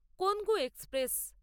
Kongu express